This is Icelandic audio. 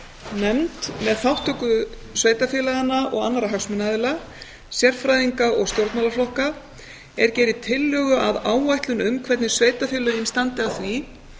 nefnd með þátttöku sveitarfélaganna og annarra hagsmunaaðila sérfræðinga og stjórnmálaflokka er geri tillögu að áætlun um hvernig sveitarfélögin standi að því